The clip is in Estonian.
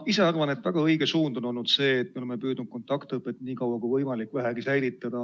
Ma ise arvan, et see on olnud väga õige suund, et me oleme püüdnud kontaktõpet nii kaua kui võimalik osaliseltki säilitada.